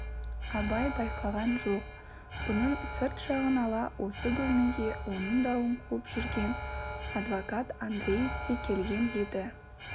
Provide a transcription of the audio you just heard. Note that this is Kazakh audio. абай байқаған жоқ бұның сырт жағын ала осы бөлмеге оның дауын қуып жүрген адвокат андреев те келген еді